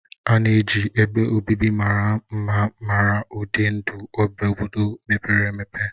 A na-eji ebe obibi mara mma mara ụdị ndụ obodo mepere emepe.